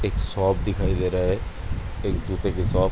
एक शॉप दिखाई दे रहा है। एक जूते की शॉप --